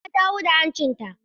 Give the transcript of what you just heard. Jamila ta huda hancinta.